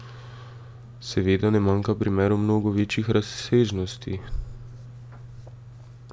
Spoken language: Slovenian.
Seveda ne manjka primerov mnogo večjih razsežnosti.